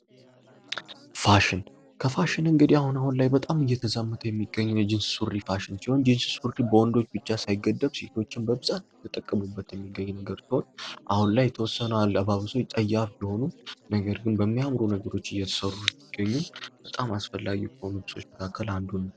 ፋሽን ከፋሽን እንግዲህ አሁን አሁን ላይ በጣም እየተዛመተ የሚገኘው የጂንስ ሱሪ ፋሽን የጂንስ ሱሪ ፋሽን በወንዶች ብቻ ሳይገደብ ሴቶችን በብዛት ጥቅም እየተጠቀሙበት የሚገኝ ነገር ሲሆን፤ አሁን ላይ የተወሰነ አለባበስ ጸያፍ ቢሆኑም ነገር ግን በሚያምሩ ነገሮች እየሠሩ ነው። በጣም አስፈላጊ ከሆኑ ልብሶች መካከል ካለ አንዱ ነው።